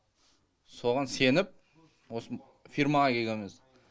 соған сеніп осы фирмаға келгенбіз